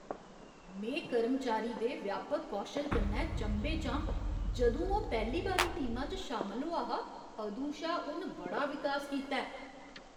में कर्मचारी दे व्यापक कौशल कन्नै चंभे च आं जदूं ओह् पैह्ली बारी टीमा च शामल होआ हा अदूं शा उन बड़ा विकास कीता ऐ।